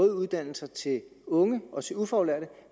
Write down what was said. uddannelser til unge også de ufaglærte